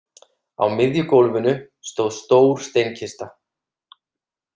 Á miðju gólfinu stóð stór steinkista.